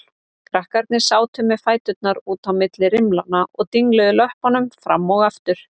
Krakkarnir sátu með fæturna út á milli rimlanna og dingluðu löppunum fram og aftur.